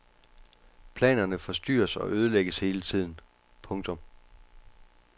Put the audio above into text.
Planerne forstyrres og ødelægges hele tiden. punktum